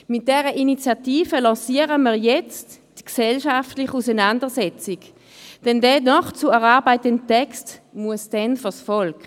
Mit dieser Initiative lancieren wir jetzt die gesellschaftliche Auseinandersetzung, denn der noch zu erarbeitende Text muss dann vors Volk.